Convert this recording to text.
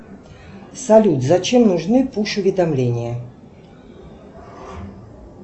салют зачем нужны пуш уведомления